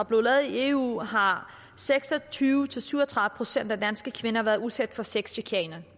blev lavet i eu har seks og tyve til syv og tredive procent af danske kvinder været udsat for sexchikane